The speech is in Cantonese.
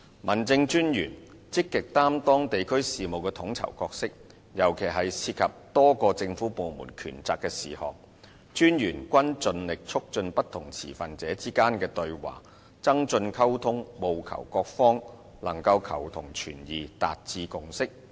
民政事務專員積極擔當地區事務的統籌角色，尤其是涉及多個政府部門權責的事項，民政事務專員均盡力促進不同持份者之間的對話，增進溝通，務求各方能求同存異和達致共識。